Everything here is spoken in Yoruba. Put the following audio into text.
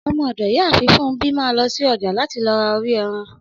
Ọmọ ọ̀dọ̀ Ìyáàfin Funmbi máa lọ́ ṣí ọja láti lọ ra orí ẹran.